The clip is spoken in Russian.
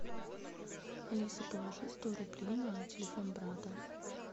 алиса положи сто рублей на телефон брата